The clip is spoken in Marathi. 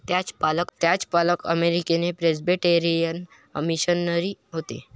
त्यांचे पालक अमेरिकेन प्रेस्बिटेरियन मिशनरी होते.